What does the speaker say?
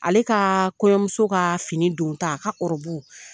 Ale ka kɔɲɔmuso ka fini don ta a ka